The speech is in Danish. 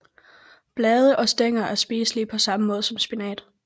Blade og stængler er spiselige på samme måde som spinat